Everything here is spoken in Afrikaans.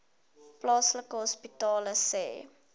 plaaslike hospitale sê